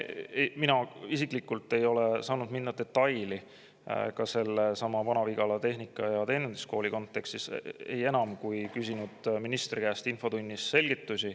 Mina isiklikult ei ole saanud minna detailidesse sellesama Vana-Vigala Tehnika- ja Teeninduskooli kontekstis enam, kui olen küsinud ministri käest infotunnis selgitusi.